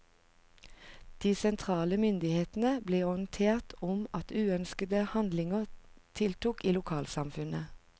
De sentrale myndighetene ble orientert om at uønskede handlinger tiltok i lokalsamfunnet.